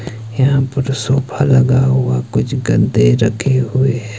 यह पुरा सोफा लगा हुआ कुछ गद्दे रखे हुए है।